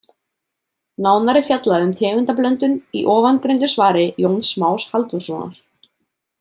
Nánar er fjallað um tegundablöndun í ofangreindu svari Jóns Más Halldórssonar.